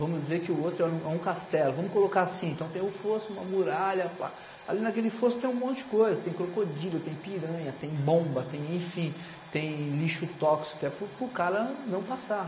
Vamos dizer que o outro era um é um castelo, vamos colocar assim, então tem um fosso, uma muralha, pá, ali naquele fosso tem um monte de coisa, tem crocodilo, tem piranha, tem bomba, enfim, tem lixo tóxico, é para o para o cara não passar.